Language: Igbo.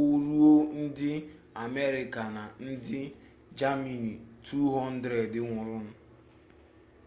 o ruo ndị amerịka na ndị jamani 200 nwụrụnụ